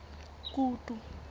kutu